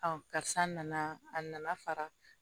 karisa nana a nana fara